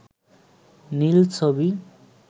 নীল ছবি